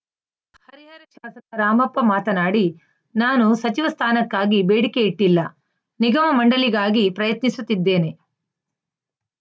ಹರಿಹರ ಶಾಸಕ ರಾಮಪ್ಪ ಮಾತನಾಡಿ ನಾನು ಸಚಿವ ಸ್ಥಾನಕ್ಕಾಗಿ ಬೇಡಿಕೆಯಿಟ್ಟಿಲ್ಲ ನಿಗಮ ಮಂಡಳಿಗಾಗಿ ಪ್ರಯತ್ನಿಸುತ್ತಿದ್ದೇನೆ